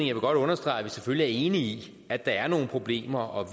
jeg godt understrege at vi selvfølgelig er enige i at der er nogle problemer og